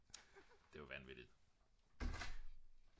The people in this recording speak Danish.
det er jo vanvittigt